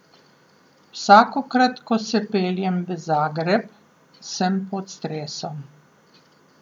Vsakokrat, ko se peljem v Zagreb, sem pod stresom.